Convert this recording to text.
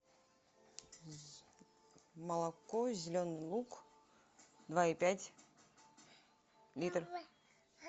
молоко зеленый луг два и пять литр